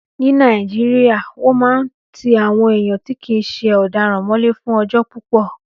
Ní Nàìjíríyà, wọ́n máa n ti àwọn èèyàn tí kìí ṣe ọ̀daràn mọ́lé fún ọjọ́ púpọ̀